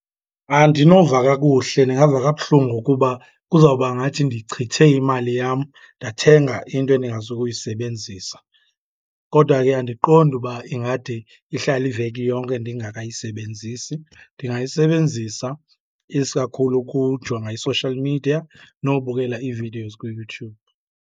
Andinova kakuhle, ndingava kabuhlungu kuba kuzawuba ngathi ndichithe imali yam ndathenga into endingazukuyisebenzisa. Kodwa ke andiqondi uba ingade ihlale iveki yonke ndingakayisebenzisi. Ndingayisebenzisa isikakhulu ukujonga i-social media nobukela ii-videos kuYouTube.